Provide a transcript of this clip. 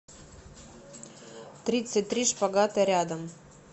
тридцать три шпагата рядом